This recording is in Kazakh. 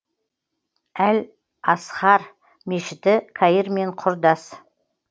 әл азхар мешіті каир мен құрдас